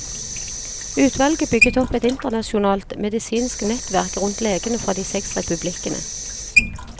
Utvalget bygget opp et internasjonalt, medisinsk nettverk rundt legene fra de seks republikkene.